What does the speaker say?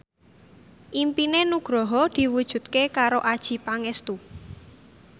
impine Nugroho diwujudke karo Adjie Pangestu